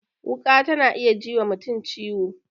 Wuƙa ta na iya ji wa mutum ciwo